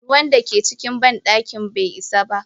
ruwan dake cikin bandakin bai isa ba.